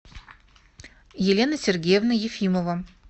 елена сергеевна ефимова